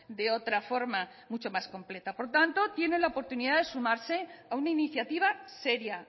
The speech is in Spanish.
de otra forma mucho más completa por tanto tiene la oportunidad de sumarse a una iniciativa seria